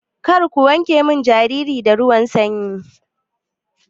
Karku wanke min jariri da ruwan sanyi.